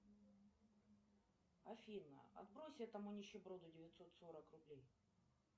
афина отбрось этому нищеброду девятьсот сорок рублей